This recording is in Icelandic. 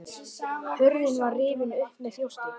Hurðin var rifin upp með þjósti.